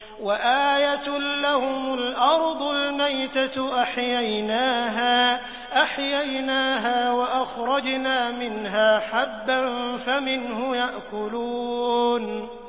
وَآيَةٌ لَّهُمُ الْأَرْضُ الْمَيْتَةُ أَحْيَيْنَاهَا وَأَخْرَجْنَا مِنْهَا حَبًّا فَمِنْهُ يَأْكُلُونَ